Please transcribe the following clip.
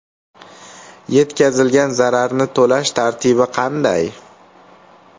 Yetkazilgan zararni to‘lash tartibi qanday?